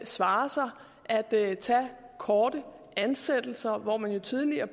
svare sig at tage korte ansættelser hvor man jo tidligere